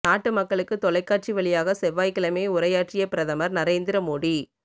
நாட்டு மக்களுக்கு தொலைக்காட்சி வழியாக செவ்வாய்க்கிழமை உரையாற்றிய பிரதமர் நரேந்தி மோடி